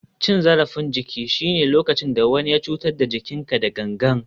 Cin zarafin jiki shine lokacin da wani ya cutar da jikinka da gangan.